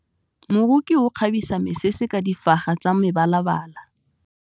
Moroki o kgabisa mesese ka difaga tsa mebalabala.